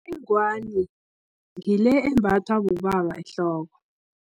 Ingwani, ngile embathwa bobaba ehloko.